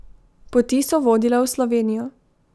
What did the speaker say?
Poti so vodile v Slovenijo.